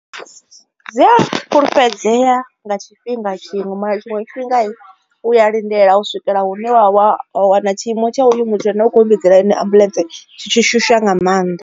Dzi a fhulufhedzea nga tshifhinga tshiṅwe na tshiṅwe tshifhinga u ya lindela u swikela hune wa wa wana tshiimo tsha uyu muthu ane u kho vhidzela ene ambuḽentse tshi tshi shusha nga mannḓa.